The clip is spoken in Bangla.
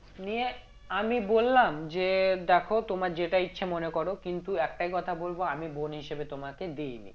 নিয়ে আমি বললাম যে দেখো তোমার যেটা ইচ্ছা মনে করো কিন্তু একটাই কথা বলবো আমি বোন হিসেবে তোমাকে দি নি